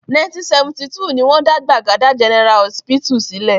1972 ni wọ́n dá Gbagada General Họsípítù sílẹ̀.